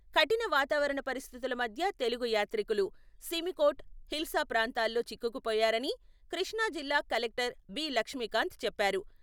కఠిన వాతావరణ పరిస్థితుల మధ్య తెలుగు యాత్రికులు, సిమికోట్, హిల్సా ప్రాంతాల్లో చిక్కుకుపోయారని, కృష్ణా జిల్లా కలెక్టర్ బి.లక్ష్మీకాంత్ చెప్పారు.